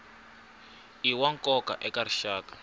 i wa nkoka eka rixaka